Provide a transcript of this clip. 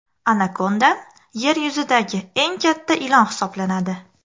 Anakonda yer yuzidagi eng katta ilon hisoblanadi.